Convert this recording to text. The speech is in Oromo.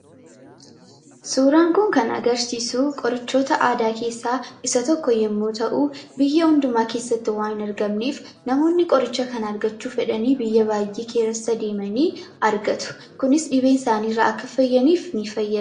Suuraan kun kan agarsiisu qorichoota aadaa keessaa isa tokko yommuu ta'u, biyya hundumaa keessatti waan hin argamneef namoonni qoricha kana argachuu fedhanii biyya baay'ee keessa deemanii argatu. Kunis dhibee isaanii irraa akka fayyaniif ni fayyada.